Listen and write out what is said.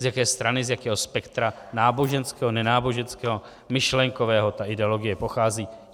jaké strany, z jakého spektra náboženského, nenáboženského, myšlenkového ta ideologie pochází.